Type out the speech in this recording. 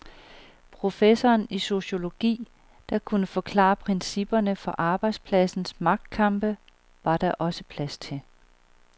Professoren i sociologi, der kunne forklare principperne for arbejdspladsens magtkampe, var der også plads til.